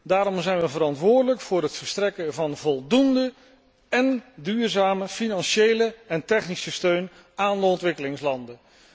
Daarom zijn we verantwoordelijk voor het verstrekken van voldoende en duurzame financiële en technische steun aan de ontwikkelingslanden.